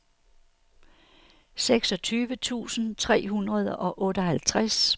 seksogtyve tusind tre hundrede og otteoghalvtreds